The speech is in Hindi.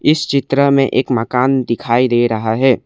इस चित्र में एक मकान दिखाई दे रहा है।